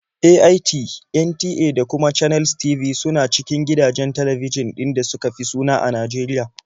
AIT, NTA da kuma Channels TV su na cikin gidajen talbijin ɗin da suka fi suna a Najeriya.